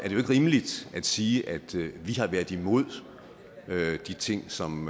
jo ikke rimeligt at sige at vi har været imod de ting som